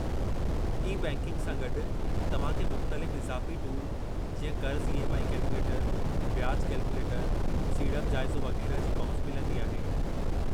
E-banking सां गॾु, तव्हां खे मुख़्तलिफ़ इज़ाफ़ी टूल जीअं क़र्ज़ु ई. एम. आई. कैलकुलेटरु, ब्याज कैलकुलेटरु, सीड़प जाइज़ो वगै़रह जी पहुच मिलंदी आहे।